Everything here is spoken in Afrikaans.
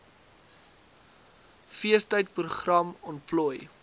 feestyd program ontplooi